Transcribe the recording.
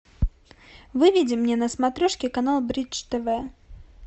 выведи мне на смотрешке канал бридж тв